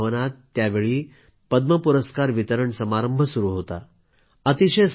राष्ट्रपती भवनात त्यावेळी पद्म पुरस्कार वितरण समारंभ सुरू होता